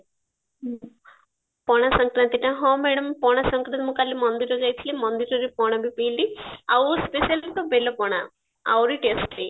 ପଣା ଶଙ୍କାରାନ୍ତି ଟା ହଁ madam ପଣା ଶଙ୍କାରାନ୍ତି ମୁଁ କାଲୀ ମନ୍ଦିର ଯାଇଥିଲି ମନ୍ଦିରରେ ପଣା ବି ପିଇଲି ଆଉ specially ତ ବେଲ ପଣା ଆହୁରି testy